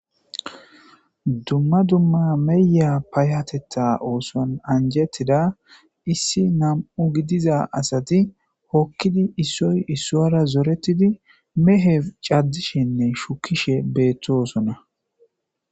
dumma dumma meya payatetta ooson anjetida issi nam7u gidiza asati hokkidi issoy issoara zoretidi mehe caddishenne shukishe beettooosona